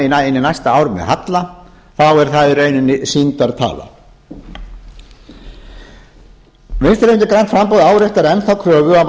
í næsta ár með halla þá er það í rauninni sýndartala vinstri hreyfingin grænt framboð áréttar enn kröfu að